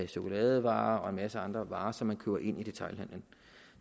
chokoladevarer og en masse andre varer som man køber ind i detailhandelen